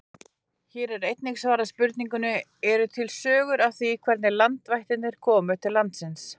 Hér er einnig svarað spurningunni: Eru til sögur af því hvernig landvættirnar komu til landsins?